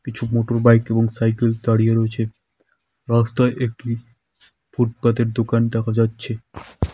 কিছু মোটরবাইক এবং সাইকেল দাঁড়িয়ে রয়েছে রাস্তায় একটি ফুটপাতের দোকান দেখা যাচ্ছে।